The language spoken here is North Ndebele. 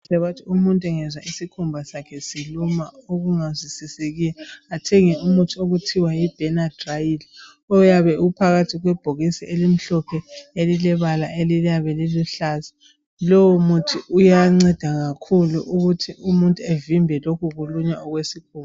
Kuqakathekile ukuthi umuntu engezwa isikhumba sakhe siluma okungaqedakaliyo kathenge umuthi othiwa yiBenadryl oyabe uphakathi kwebhokisi elilombala omhlophe elilebala eliyabe liluhlaza. Lowo muthi uyanceda kakhulu ukuthi umuntu avimbe lokhu kulunywa okwesibungu